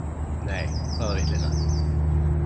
Nei, hvaða vitleysa.